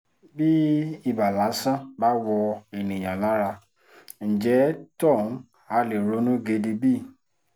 bí ibà lásán bá wọ́ ènìyàn lára ńjẹ́ tóhun ha lè ronú gidi bí